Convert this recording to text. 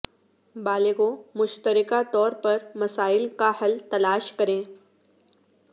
بالغوں مشترکہ طور پر مسائل کا حل تلاش کریں